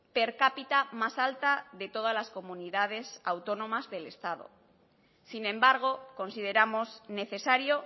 per cápita más alta de todas las comunidades autónomas del estado sin embargo consideramos necesario